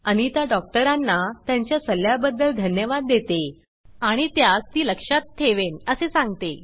अनिता डॉक्टरांना त्यांच्या सल्ल्या बदद्ल धण्यवाद देते आणि त्यास ती लक्षात ठेवेन असे सांगते